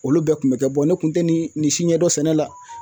Olu bɛɛ kun bɛ kɛ ne kun tɛ nin si ɲɛdɔn sɛnɛ la